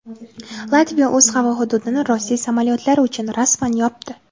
Latviya o‘z havo hududini Rossiya samolyotlari uchun rasman yopdi.